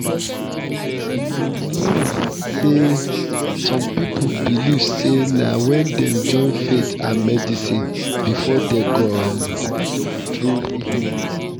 you know say some people believe say na wen dem join faith and medicine before dem go um truly heal